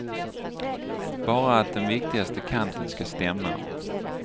Bara att den viktigaste kanten ska stämma.